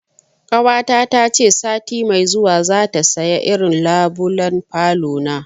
Ƙawata ta ce sati mai zuwa za ta saya irin labulen falona